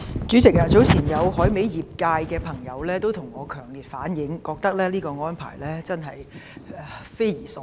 主席，早前有來自海味業界的朋友向我強烈反映，認為內地這項安排匪夷所思。